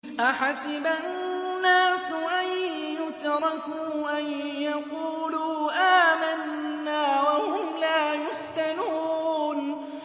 أَحَسِبَ النَّاسُ أَن يُتْرَكُوا أَن يَقُولُوا آمَنَّا وَهُمْ لَا يُفْتَنُونَ